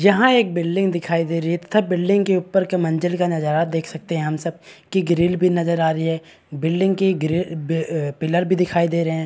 यहाँ एक बिल्डिंग दिखाई दे रही है तथा बिल्डिंग के ऊपर के मंजिल का नजारा देख सकते हैं हम सब की ग्रिल भी नजर आ रही है बिल्डिंग की ग्रिल पिलर भी दिखाई दे रहे हैं।